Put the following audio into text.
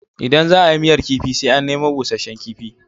Idan za a yi miyar kifi sai an nemo busasshen kifi.